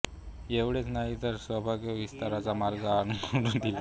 एवढेच नाही तर संभाव्य विस्ताराचा मार्ग आखून दिला